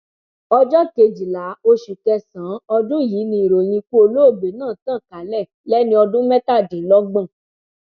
ọjọ kejìlá oṣù kẹsànán ọdún yìí ni ìròyìn ikú olóògbé náà tàn kálẹ lẹni ọdún mẹtàdínlọgbọn